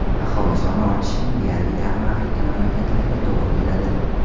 Aholi soni ortishining deyarli yarmi Afrika mamlakatlariga to‘g‘ri keladi.